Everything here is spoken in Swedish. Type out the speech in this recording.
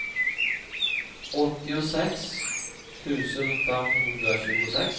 åttiosex tusen femhundratjugosex